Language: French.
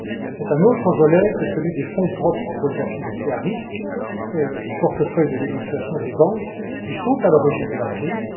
C'est un autre volet que celui des fonds propres pour les activités à risques, du portefeuille de négociation des banques, qui sont à l'origine de la crise.